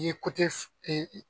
N'i ye